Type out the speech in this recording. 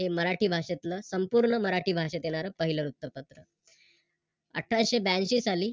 हे मराठी भाषेतल संपूर्ण मराठी भाषेतील येणार पहिल वृत्तपत्र. अठराशे ब्यांशी साली